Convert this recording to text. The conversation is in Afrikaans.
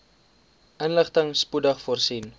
inligting spoedig voorsien